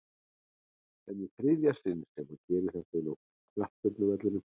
En í þriðja sinn sem hann gerir þetta inná knattspyrnuvellinum?